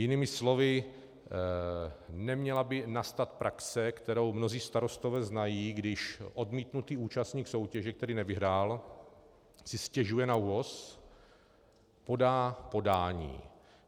Jinými slovy, neměla by nastat praxe, kterou mnozí starostové znají, když odmítnutý účastník soutěže, který nevyhrál, si stěžuje na ÚOHS, podá podání.